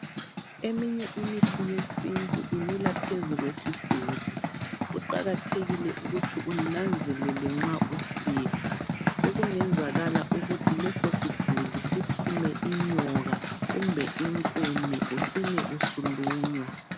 Eminye imithi yesintu imila phezu kwesiduli, kuqakathekile ukuthi unanzelele nxa usikha sokungezakala ukuthi lesosiduli siphume inyoka kumbe inkume ucine usulunywa.